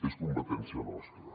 és competència nostra